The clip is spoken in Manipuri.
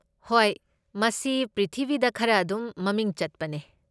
ꯍꯣꯏ, ꯃꯁꯤ ꯄ꯭ꯔꯤꯊꯤꯕꯤꯗ ꯈꯔ ꯑꯗꯨꯝ ꯃꯃꯤꯡ ꯆꯠꯄꯅꯦ꯫